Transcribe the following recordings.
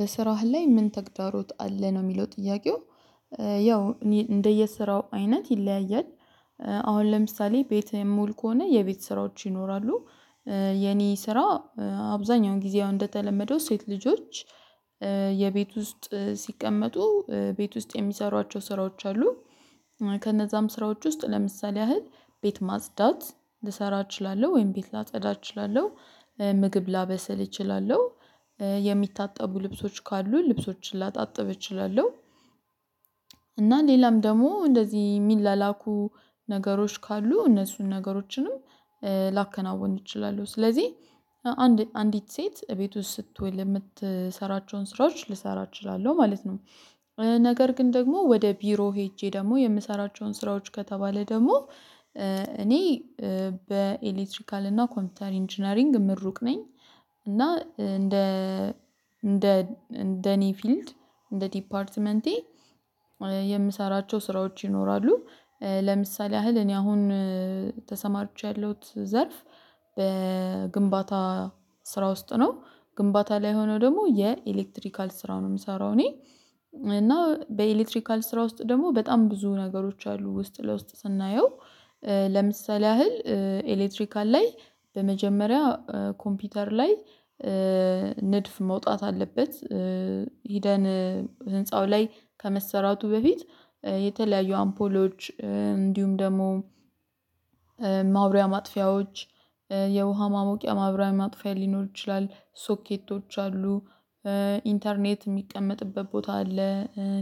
በስራህ ላይ ምን? ተግዳሮት አለ ነው የሚለው ጥያቄው ያው እኔ እንደየስራው አይነት ይለያያል። አሁን ለምሳሌ ቤቴ ሙሉ ከሆነ የቤት ስራዎች ይኖራሉ። የኔ ስራ አብዛኛውን ጊዜው እንደተለመደው ሴት ልጆች። የቤት ውስጥ ሲቀመጡ ቤት ውስጥ የሚሰሯቸው ስራዎች አሉ። ከነዛም ስራዎች ውስጥ ለምሳሌ ያህል ቤት ማጽዳት ልሰራ እችላለሁ ወይም ቤት ላጸዳ እችላለሁ። ምግብ ላበሰል እችላለሁ። የሚታጠቡ ልብሶች ካሉ ልብሶችን ላጣጥብ እችላለሁ። እና ሌላም ደግሞ እንደዚህ የሚላላኩ ነገሮች ካሉ እነሱን ነገሮችንም ላከናውን እችላለሁ። ስለዚህ አንድ አንዲት ሴት እቤት ውስጥ ስትሆን የምትሰራቸውን ስራዎች ልሰራ እችላለሁ ማለት ነው። ነገር ግን ደግሞ ወደ ቢሮ ሄጄ ደግሞ የምሰራቸውን ስራዎች ከተባለ ደግሞ እኔ በኤሌክትሪካል እና ኮምፒውተር ኢንጂነሪንግ ምሩቅ ነኝ። እና እንደ እንደ እንደኔ ፊልድ እንደ ዲፓርትመንቴ የምሰራቸው ስራዎች ይኖራሉ። ለምሳሌ ያህል እኔ አሁን ተሰማርቼ ያለሁት ዘርፍ በግንባታ ስራ ውስጥ ነው። ግንባታ ላይ ሆኖ ደግሞ የኤሌክትሪካል ስራ ነው የምሰራው። እኔ እና በኤሌክትሪካል ስራ ውስጥ ደግሞ በጣም ብዙ ነገሮች አሉ ውስጥ ለውስጥ ስናየው። ለምሳሌ ያህል ኤሌክትሪካል ላይ በመጀመሪያ ኮምፒውተር ላይ ንድፍ መውጣት አለበት። ሂደን ህንፃው ላይ ከመሰራቱ በፊት የተለያዩ አምፖሎች እንዲሁም ደግሞ ማብሪያ ማጥፊያዎች የውሃ ማሞቂያ ማብሪያ ማጥፊያ ሊኖር ይችላል ሶኬቶች አሉ። ኢንተርኔት የሚቀመጥበት ቦታ አለ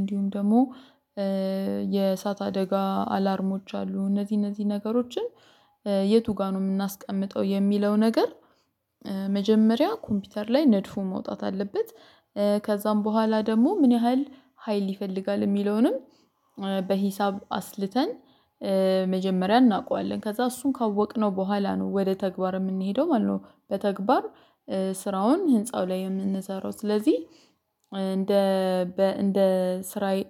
እንዲሁም ደግሞ የእሳት አደጋ አላርሞች አሉ። እነዚህ እነዚህ ነገሮችን የቱ ጋር ነው የምናስቀምጠው የሚለው ነገር? መጀመሪያ ኮምፒውተር ላይ ነድፉ መውጣት አለበት። ከዛም በኋላ ደግሞ ምን ያህል ሀይል ይፈልጋል የሚለውንም በሂሳብ አስልተን መጀመሪያ እናውቀዋለን ከዛ እሱን ካወቅነው በኋላ ነው ወደ ተግባር የምንሄደው ማለት ነው። በተግባር ስራውን ህንፃው ላይ የምንሰራው ስለዚህ። እንደ እንደ ስራዬ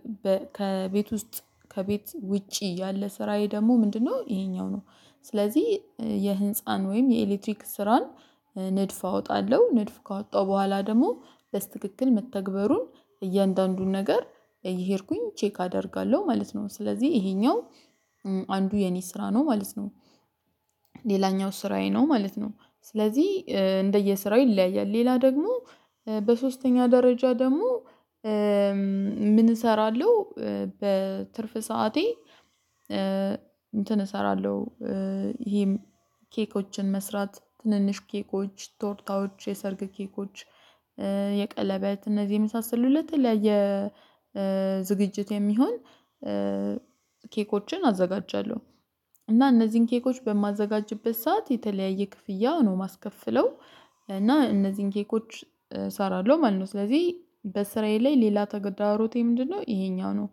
ከቤት ውስጥ ከቤት ውጪ ያለ ስራዬ ደግሞ ምንድነው? ይሄኛው ነው። ስለዚህ የህንፃን ወይም የኤሌክትሪክ ስራን ንድፍ አወጣለሁ ንድፍ ካወጣሁ በኋላ ደግሞ ብስትክክል መተግበሩን እያንዳንዱን ነገር እየሄድኩኝ ቼክ አደርጋለሁ ማለት ነው። ስለዚህ ይሄኛው አንዱ የኔ ስራ ነው ማለት ነው። ሌላኛው ስራዬ ነው ማለት ነው። ስለዚህ እንደየስራው ይለያያል ሌላ ደግሞ በሶስተኛ ደረጃ ደግሞ ምን እሰራለሁ በትርፍ ሰዓቴ እንትን እሰራለሁ። ይሄም ኬኮችን መስራት ትንንሽ ኬኮች ቶርታዎች የሰርግ ኬኮች የቀለበት እነዚህ የመሳሰሉ ለተለያየ ዝግጅት የሚሆን ኬኮችን አዘጋጃለሁ። እና እነዚህን ኬኮች በማዘጋጅበት ሰዓት የተለያየ ክፍያ ነው የማስከፍለው። እና እነዚህን ኬኮች እሰራለሁ ማለት ነው ስለዚህ በስራየ ላይ ሌላ ተገዳሮቴ ምንድነው ይሄኛው ነው።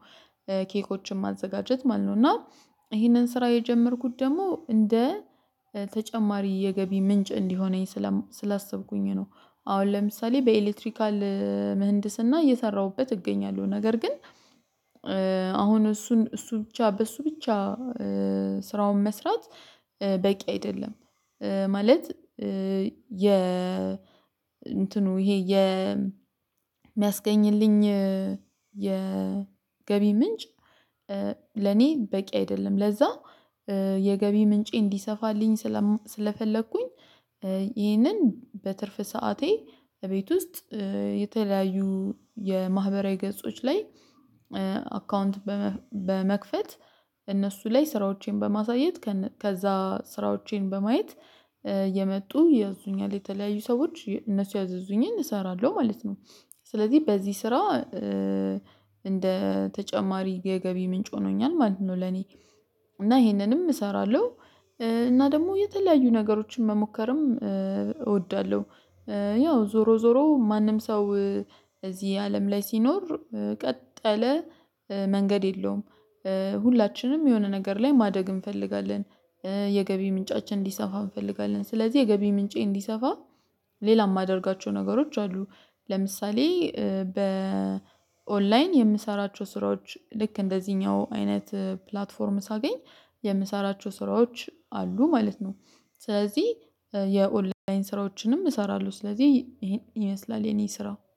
ኬኮችን ማዘጋጀት ማለት ነው እና ይሄንን ስራ የጀመርኩት ደግሞ እንደ ተጨማሪ የገቢ ምንጭ እንዲሆነኝ ስላሰብኩኝ ነው። አሁን ለምሳሌ በኤሌክትሪካል ምህንድስና እየሰራሁበት እገኛለሁ ነገር ግን አሁን እሱን እሱ ብቻ በሱ ብቻ ስራውን መስራት በቂ አይደለም። ማለት የ እንትኑ ይሄ የ የሚያስገኝልኝ የ ገቢ ምንጭ ለኔ በቂ አይደለም። ለዛ የገቢ ምንጬ እንዲሰፋልኝ ስለፈለኩኝ። ይህንን በትርፍ ሰዓቴ እቤት ውስጥ የተለያዩ የማህበራዊ ገጾች ላይ አካውንት በመክፈት እነሱ ላይ ስራዎቼን በማሳየት ከዛ ስራዎቼን በማየት የመጡ ያዙኛል የተለያዩ ሰዎች እነሱ ያዘዙኝን እሰራለሁ ማለት ነው። ስለዚህ በዚህ ስራ እንደ ተጨማሪ የገቢ ምንጭ ሆኖኛል ማለት ነው። ለኔ እና ይሄንንም እሰራለሁ። እና ደግሞ የተለያዩ ነገሮችን መሞከርም እወዳለሁ። ያው ዞሮ ዞሮ ማንም ሰው እዚህ አለም ላይ ሲኖር ቀጠለ መንገድ የለውም። ሁላችንም የሆነ ነገር ላይ ማደግ እንፈልጋለን። የገቢ ምንጫችን እንዲሰፋ እንፈልጋለን ስለዚህ የገቢ ምንጬ እንዲሰፋ ሌላ የማደርጋቸው ነገሮች አሉ። ለምሳሌ በ ኦንላይን የምሰራቸው ስራዎች ልክ እንደዚህኛው አይነት ፕላትፎርም ሳገኝ የምሰራቸው ስራዎች አሉ ማለት ነው። ስለዚህ የኦንላይን ስራዎችንም እሰራለሁ ስለዚህ ይሄን ይመስላል የኔ ስራው